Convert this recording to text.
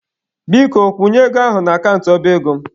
Biko kwụnye ego ahụ n'akant ọba ego m.